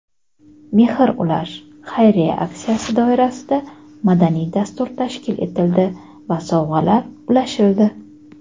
"Mehr ulash" xayriya aksiyasi doirasida madaniy dastur tashkil etildi va sovg‘alar ulashildi.